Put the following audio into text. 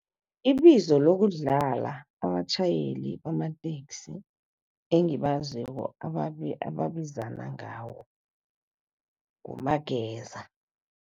Ibizo lokudlala abatjhayeli bamateksi engibaziko ababizana ngawo ngumageza.